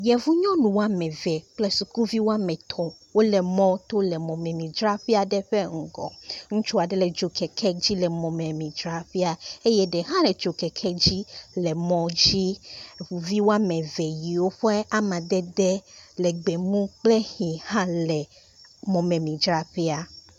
Yevu nyɔnu woameve kple sukuvi woametɔ wole mɔto le mɔmemidzraƒe aɖe ƒe ŋgɔ, ŋutsu aɖe le dzokeke dzi le emɔmemidzraƒea eye ɖe hã le dzokeke dzi le emɔ dzi eye eʋuvi woameve yiwo ƒe amadede le gbemu kple ɣi hã le mɔmemidzraƒea.